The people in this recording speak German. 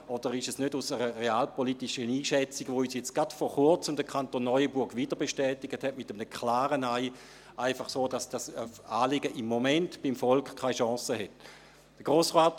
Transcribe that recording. Oder ist es aus einer realpolitischen Einschätzung heraus, die uns gerade vor Kurzem der Kanton Neuenburg wieder bestätigt hat, mit einem klaren Nein, einfach so, dass dieses Anliegen beim Volk im Moment keine Chance hat?